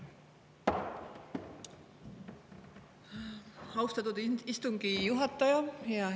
Austatud istungi juhataja!